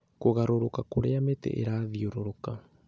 Kũgarũrũka kũrĩa mĩtĩ ĩrathiũrũrũka